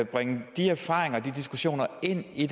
bringe de erfaringer og de diskussioner ind i